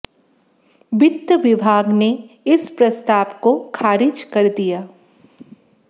वित्त विभाग ने इस प्रस्ताव को खारिज कर दिया